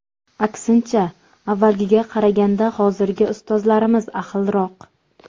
Aksincha, avvalgiga qaraganda hozirgi ustozlarimiz ahilroq.